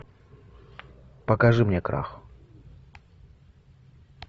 покажи мне крах